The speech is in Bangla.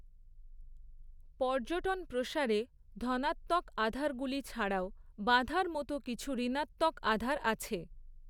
পর্যটন প্রসারে ধনাত্মক আধারগুলি ছাড়াও বাঁধার মত কিছু ঋনাত্মক আধার আছে।